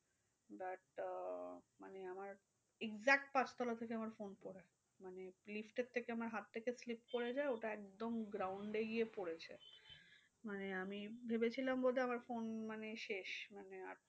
But আহ মানে আমার exact পাঁচতলা থেকে আমার phone পড়েছে। মানে lift এর থেকে আমার হাত থেকে slip করে যায়। ওটা একদম ground এ গিয়ে পড়েছে। মানে আমি ভেবেছিলাম বোধহয় আমার phone মানে শেষ মানে আর